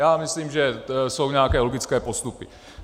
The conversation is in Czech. Já myslím, že jsou nějaké logické postupy.